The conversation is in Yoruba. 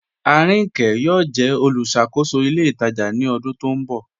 Aríńkè yọọ̀ jẹ olúṣàkòsó ilẹ̀ itajà ni ọdún tó nbọ